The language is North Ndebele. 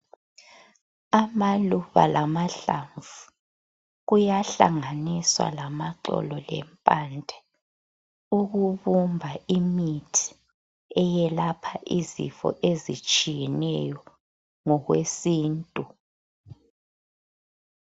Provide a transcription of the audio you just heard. Amaluba lamahlamvu kuyahlanganiswa lamaxolo lempande ukubumba imithi eyelapha izifo ezitshiyeneyo ngokwesintu.